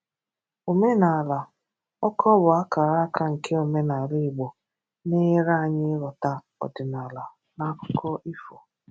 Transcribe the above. Omenala: Ọkọ bụ àkàràkà nke omenala Igbo, na-enyèrè anyị ịghọta ọdịnàlà na àkùkọ ifo.